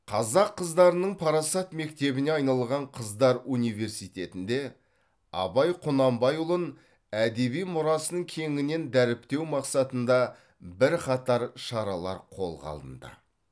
қазақ қыздарының парасат мектебіне айналған қыздар университетінде абай құнанбайұлын әдеби мұрасын кеңінен дәріптеу мақсатында бірқатар шаралар қолға алынды